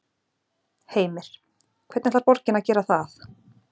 Heimir: Hvernig ætlar borgin að gera það?